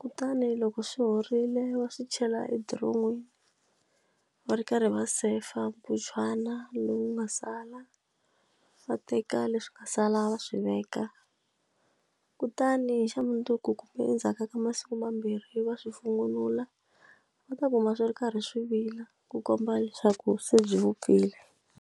kutani loko swi horile va swi chela edoromini va ri karhi va sefa mputshwana lowu nga sala va teka leswi ka sala va swi veka kutani xa mundzuku kumbe endzhaku ka masiku mambirhi yi va swi va ta kuma swi ri karhi swi vila ku komba leswaku se byi vupfile.